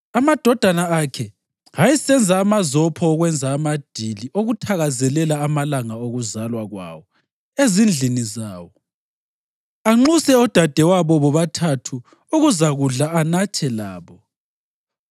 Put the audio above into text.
Amadodana akhe ayesenza amazopha okwenza amadili okuthakazelela amalanga okuzalwa kwawo ezindlini zawo, anxuse odadewabo bobathathu ukuzakudla anathe labo.